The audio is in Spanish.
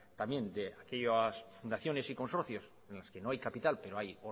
también de aquellas fundaciones y consorcios en las que no hay capital pero hay